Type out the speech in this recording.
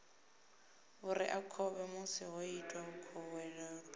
vhureakhovhe musi ho itwa khuwelelo